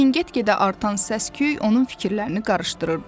Lakin get-gedə artan səsküy onun fikirlərini qarışdırırdı.